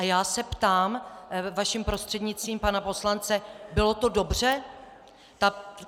A já se ptám vaším prostřednictvím pana poslance: Bylo to dobře?